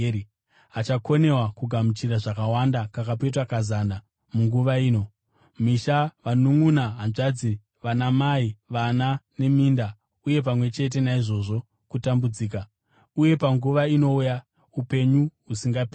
achakundikana kugamuchira zvakawanda kakapetwa kazana munguva ino (misha, vanunʼuna, hanzvadzi, vanamai, vana neminda, uye pamwe chete naizvozvo, kutambudzika) uye panguva inouya, upenyu husingaperi.